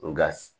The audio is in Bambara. Nka